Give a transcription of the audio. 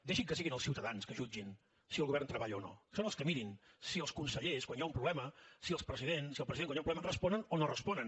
deixi que siguin els ciutadans que jutgin si el govern treballa o no que mirin si els consellers quan hi ha un problema si el president quan hi ha un problema responen o no responen